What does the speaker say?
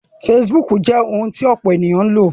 Facebook jẹ́ ohun tí ọ̀pọ̀ ènìyàn ń lò